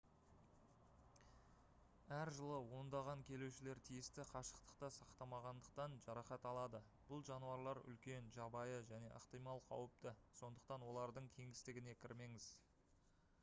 әр жылы ондаған келушілер тиісті қашықтықты сақтамағандықтан жарақат алады бұл жануарлар үлкен жабайы және ықтимал қауіпті сондықтан олардың кеңістігіне кірмеңіз